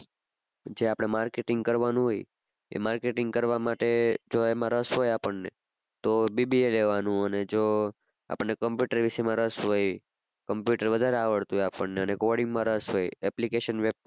જે આપણે marketing કરવાનું હોય એ marketing કરવા માટે જો એમાં રસ હોય આપણ ને તો BBA લેવાનું અને જો આપણને computer વિષય માં રસ હોય Computer વધારે આવડતું હોય આપણને અને coding માં વધારે રસ હોય application